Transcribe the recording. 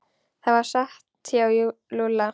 Það er satt hjá Lúlla.